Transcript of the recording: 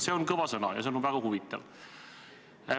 See on kõva sõna ja see on väga huvitav.